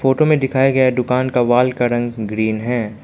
Photo में दिखाया गया दुकान का वॉल का रंग ग्रीन है।